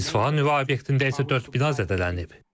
İsfahan nüvə obyektində isə dörd bina zədələnib.